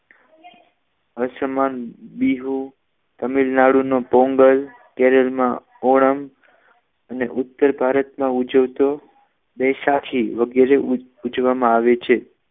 આસમાન બિહુ તમિલનાડુ નું પોંગલ કેરલમાં પોરમ ઉત્તર ભારતમાં ઉજવાતો વૈશાખી વગેરે ઉજવવામાં આવે છે